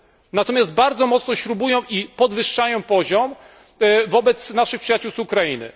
Natomiast bardzo mocno śrubują i podwyższają poziom wobec naszych przyjaciół z Ukrainy.